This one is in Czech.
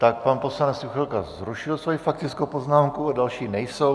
Tak pan poslanec Juchelka zrušil svoji faktickou poznámku a další nejsou.